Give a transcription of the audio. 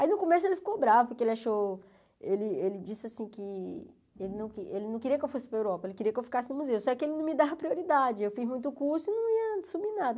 Aí no começo ele ficou bravo, porque ele achou, ele ele disse assim que ele não queria que eu fosse para a Europa, ele queria que eu ficasse no museu, só que ele não me dava prioridade, eu fiz muito curso e não ia subir nada.